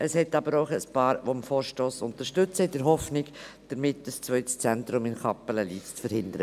Es gibt aber auch ein paar Mitglieder, die den Vorstoss in der Hoffnung unterstützen, damit ein zweites Zentrum in Kappelen-Lyss zu verhindern.